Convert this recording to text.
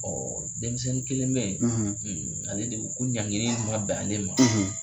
denmisɛnnin kelen bɛ yen ale de ko ɲangili in ma bɛn ale ma.